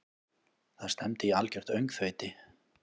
Það stefndi í algjört öngþveiti.